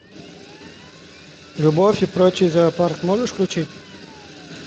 любовь и прочий зоопарк можешь включить